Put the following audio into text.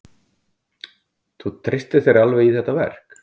Þú treystir þér alveg í þetta verk?